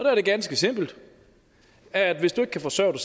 er det ganske simpelt at hvis du ikke kan forsørge